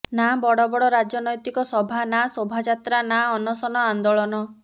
ନା ବଡ ବଡ ରାଜନୈତିକ ସଭା ନା ସୋଭାଜାତ୍ରା ନା ଅନସନ ଆନ୍ଦୋଲନ